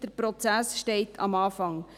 Der Prozess steht am Anfang.